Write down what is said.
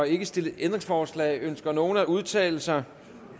ikke stillet ændringsforslag ønsker nogen at udtale sig